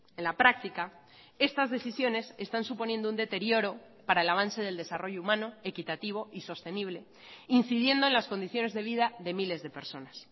en la práctica estas decisiones están suponiendo un deterioro para el avance del desarrollo humano equitativo y sostenible incidiendo en las condiciones de vida de miles de personas